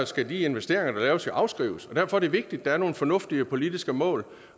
skal de investeringer der laves afskrives og derfor er det vigtigt der er nogle fornuftige politiske mål